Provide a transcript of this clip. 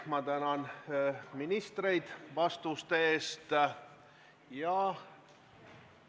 Ma tänan ministreid vastuste eest!